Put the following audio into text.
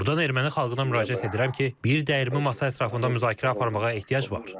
Buradan erməni xalqına müraciət edirəm ki, bir dəyirmi masa ətrafında müzakirə aparmağa ehtiyac var.